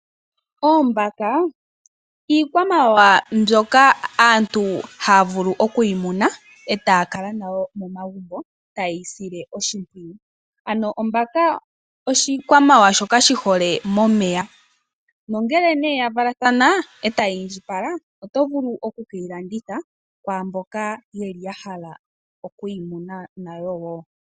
Oombaka iikwamawawa mbyoka aantu haya vulu okuyi muna eta kala nayo momagumbo tayeyi sile oshipwiyu ano ombaka oshikwamawawa shoka shi hole momeya nongele nee yavalathana etayi indjipala oto vulu okukeyi landitha kwamboka yeli ya hala oku yi muna nayo woo.